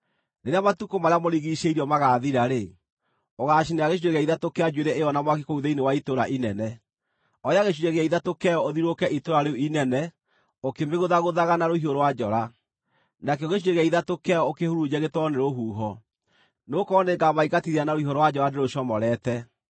Rĩrĩa matukũ marĩa mũrigiicĩirio magaathira-rĩ, ũgaacinĩra gĩcunjĩ gĩa ithatũ kĩa njuĩrĩ ĩyo na mwaki kũu thĩinĩ wa itũũra inene. Oya gĩcunjĩ gĩa ithatũ kĩayo ũthiũrũrũke itũũra rĩu inene ũkĩmĩgũthagũthaga na rũhiũ rwa njora. Nakĩo gĩcunjĩ gĩa ithatũ kĩayo ũkĩhurunje gĩtwarwo nĩ rũhuho. Nĩgũkorwo nĩngamaingatithia na rũhiũ rwa njora ndĩrũcomorete.